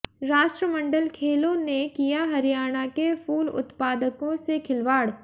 राष्ट्रमंडल खेलों ने किया हरियाणा के फूल उत्पादकों से खिलवाड़